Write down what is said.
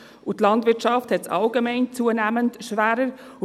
Die Landwirtschaft hat es allgemein zunehmend schwerer.